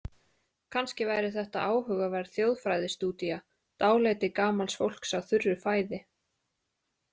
Kannski væri þetta áhugaverð þjóðfræðistúdía: dálæti gamals fólks á þurru fæði.